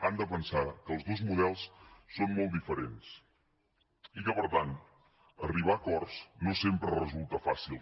han de pensar que els dos models són molt diferents i que per tant arribar a acords no sempre resulta fàcil